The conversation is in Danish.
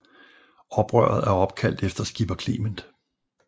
Oprøret er opkaldt efter Skipper Clement